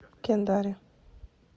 кендари